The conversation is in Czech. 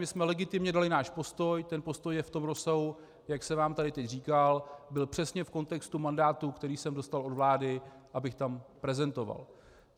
My jsme legitimně dali náš postoj, ten postoj je v tom rozsahu, jak jsem vám tady teď říkal, byl přesně v kontextu mandátu, který jsem dostal od vlády, abych tam prezentoval.